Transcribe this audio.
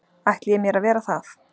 ætli ég mér að vera það.